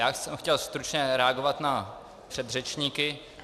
Já jsem chtěl stručně reagovat na předřečníky.